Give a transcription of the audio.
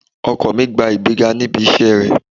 Ọkọ mi gba ìgbéga níbi iṣẹ́ rẹ̀